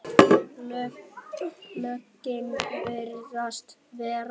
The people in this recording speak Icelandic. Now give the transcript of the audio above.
Lögin virðast vera